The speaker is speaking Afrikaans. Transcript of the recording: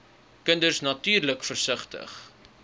kinders natuurlik versigtig